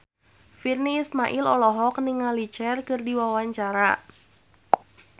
Virnie Ismail olohok ningali Cher keur diwawancara